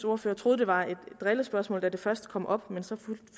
ordfører troede det var et drillespørgsmål da det først kom op men så